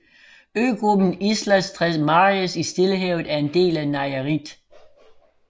Øgruppen Islas Tres Marias i Stillehavet er en del af Nayarit